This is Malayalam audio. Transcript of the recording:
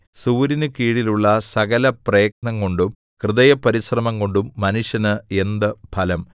സൂര്യന് കീഴിലുള്ള സകലപ്രയത്നംകൊണ്ടും ഹൃദയപരിശ്രമംകൊണ്ടും മനുഷ്യന് എന്ത് ഫലം